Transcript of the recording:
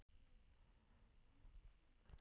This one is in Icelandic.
Elvin, hvað er lengi opið í Brynju?